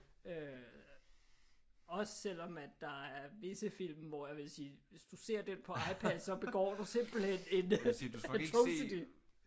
Øh også selvom at der er visse film hvor jeg vil sige at hvis du ser den på iPadden så begår du simpelthen en atrocity